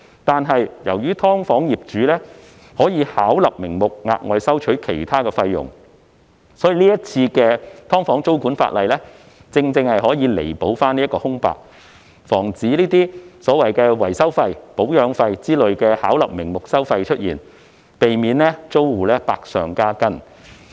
但是，由於"劏房"業主可以巧立名目地額外收取其他費用，所以這次"劏房"租管的修例正好填補這片空白，防止所謂維修費、保養費等巧立名目的收費出現，避免租戶百上加斤。